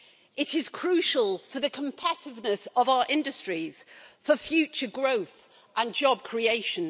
It is crucial for the competitiveness of our industries, for future growth and job creation.